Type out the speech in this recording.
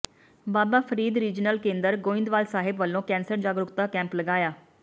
ਬਾਬਾ Farid regional ਕੇਂਦਰ ਗੋਇੰਦਵਾਲ ਸਾਹਿਬ ਵੱਲੋਂ cancer ਜਾਗਰੂਕਤਾ ਕੈਂਪ ਲਗਾਇਆ